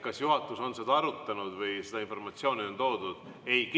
Kas juhatus on seda arutanud või seda informatsiooni on toodud?